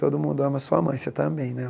Todo mundo ama sua mãe, você também, né?